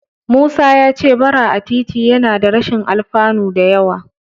Musa ya ce Bara a titi yana da rashin alfanu da yawa.